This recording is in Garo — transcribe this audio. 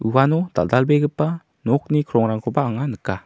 uano dal·dalbegipa nokni krongrangkoba anga nika.